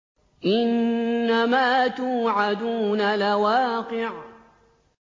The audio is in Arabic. إِنَّمَا تُوعَدُونَ لَوَاقِعٌ